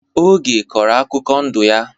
Oge kọrọ akụkọ ndụ ya.